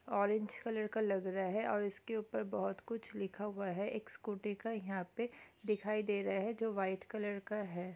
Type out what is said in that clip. Orange colour का लग रहा है और इसके ऊपर बहुत कुछ लिखा हुआ है एक स्कूटी का यहाँ पे दिखाई दे रहे हैं जो वाइट कलर का है।